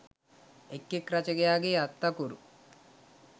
එක් එක් රචකයාගේ අත් අකුරු